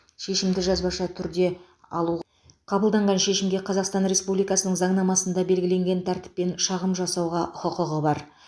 шешімді жазбаша түрде алу қабылданған шешімге қазақстан республикасының заңнамасында белгіленген тәртіппен шағым жасауға құқығы бар